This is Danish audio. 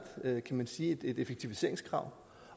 kan man sige et effektiviseringskrav